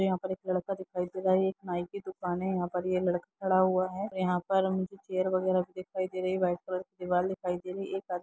यहाँ पर एक लड़का दिखाई दे रहा है एक नाइ की दुकान है यहाँ पर ये लड़का खड़ा हुआ है यहाँ पर मुझे चेयर वगेरा भी दिखाई दे रही है वाइट कलर की दिवाल दिखाई दे रही है एक आदमी--